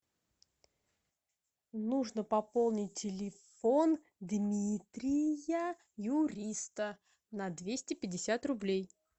нужно пополнить телефон дмитрия юриста на двести пятьдесят рублей